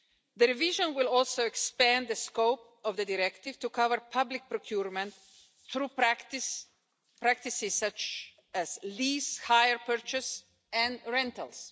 The revision will also expand the scope of the directive to cover public procurement through practices such as lease hire purchase and rentals.